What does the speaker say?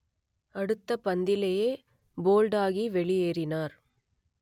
அடுத்த பந்திலேயே போல்டாகி வெளியேறினார்